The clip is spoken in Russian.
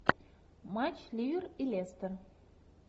матч ливер и лестер